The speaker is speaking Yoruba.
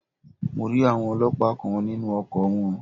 Mo rí àwọn Ọlọ́pàá kan nínú ọkọ̀ wọn.